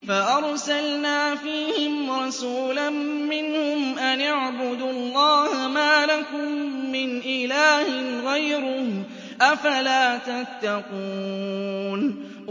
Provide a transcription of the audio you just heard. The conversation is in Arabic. فَأَرْسَلْنَا فِيهِمْ رَسُولًا مِّنْهُمْ أَنِ اعْبُدُوا اللَّهَ مَا لَكُم مِّنْ إِلَٰهٍ غَيْرُهُ ۖ أَفَلَا تَتَّقُونَ